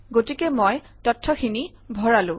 গতিকে মই তথ্যখিনি ভৰালো